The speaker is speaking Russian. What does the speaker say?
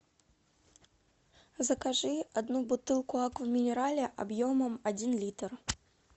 закажи одну бутылку аква минерале объемом один литр